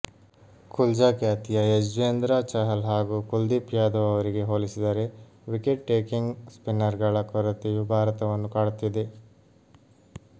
ಕುಲ್ಚಾ ಖ್ಯಾತಿಯ ಯುಜ್ವೇಂದ್ರ ಚಹಲ್ ಹಾಗೂ ಕುಲ್ದೀಪ್ ಯಾದವ್ ಅವರಿಗೆ ಹೋಲಿಸಿದರೆ ವಿಕೆಟ್ ಟೇಕಿಂಗ್ ಸ್ಪಿನ್ನರ್ಗಳ ಕೊರತೆಯು ಭಾರತವನ್ನು ಕಾಡುತ್ತಿದೆ